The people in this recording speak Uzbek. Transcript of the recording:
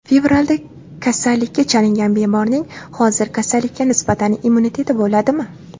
Fevralda kasallikka chalingan bemorning hozir kasallikka nisbatan immuniteti bo‘ladimi?